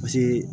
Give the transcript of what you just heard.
Paseke